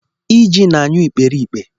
Iji na-anyụ ikperipke